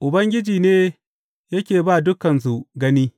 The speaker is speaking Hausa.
Ubangiji ne yake ba dukansu gani.